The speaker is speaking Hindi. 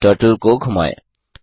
अब टर्टल को घुमाएँ